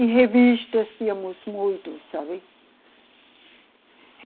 E revistas tínhamos muito, sabe?